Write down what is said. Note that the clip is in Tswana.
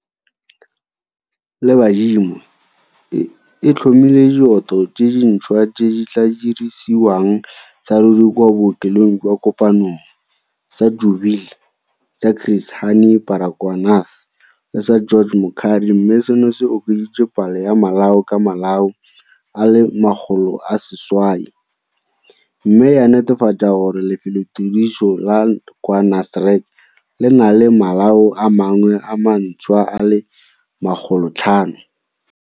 le badimo, e tlhomile dioto tse dintšhwa tse di tla dirisediwang saruri kwa bookelong jwa Kopanong, sa Jubilee, sa Chris Hani Baragwanath le sa George Mukhari mme seno se okeditse palo ya malao ka malao a le 800, mme ya netefatsa gore lefelotiriso la kwa Nasrec le na le malao a mangwe a mantšhwa a le 500.